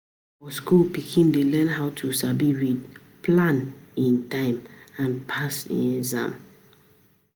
For school, pikin dey learn how to sabi read, plan e time, and pass e exam.